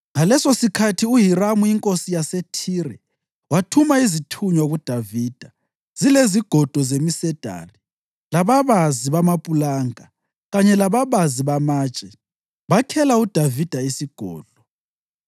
Ngalesosikhathi uHiramu inkosi yaseThire wathuma izithunywa kuDavida zilezigodo zemisedari lababazi bamapulanka kanye lababazi bamatshe, bakhela uDavida isigodlo.